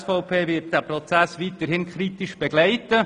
Die SVP wird diesen Prozess weiterhin kritisch begleiten.